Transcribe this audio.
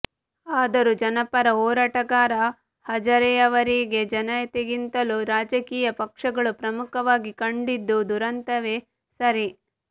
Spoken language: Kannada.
ಆದರೂ ಜನಪರ ಹೋರಾಟಗಾರ ಹಜಾರೆಯವರಿಗೆ ಜನತೆಗಿಂತಲೂ ರಾಜಕೀಯ ಪಕ್ಷಗಳು ಪ್ರಮುಖವಾಗಿ ಕಂಡಿದ್ದು ದುರಂತವೇ ಸರಿ